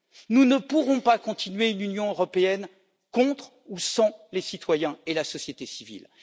Nous ne pourrons pas continuer une Union européenne contre ou sans les citoyens et la société civile.